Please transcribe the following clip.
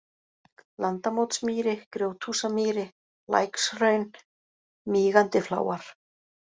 Landamótsmýri, Grjóthúsamýri, Lækshraun, Mígandifláar